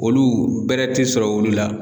Olu bɛrɛ tɛ sɔrɔ olu la.